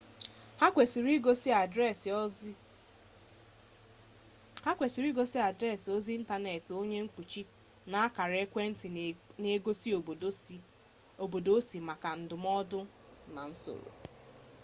ha kwesịrị igosi adreesị ozi ịntanetị onye mkpuchi na akara ekwentị n'egosi obodo osi maka ndụmọdụ na nzọrọ